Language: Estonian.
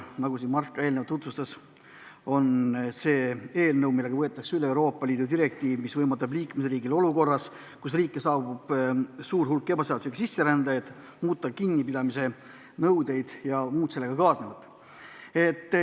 Nagu Mart eelnevalt tutvustas, on see eelnõu, millega võetakse üle Euroopa Liidu direktiiv, mis võimaldab liikmesriigil olukorras, kus riiki saabub suur hulk ebaseaduslikke sisserändajaid, muuta kinnipidamisnõudeid ja muud sellega kaasnevat.